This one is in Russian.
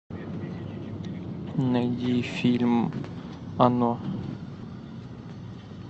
найди фильм оно